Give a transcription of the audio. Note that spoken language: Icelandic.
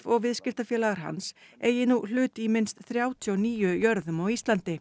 og viðskiptafélagar hans eigi nú hlut í minnst þrjátíu og níu jörðum á Íslandi